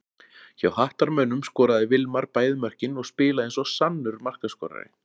Hjá Hattarmönnum skoraði Vilmar bæði mörkin og spilaði eins og sannur markaskorari.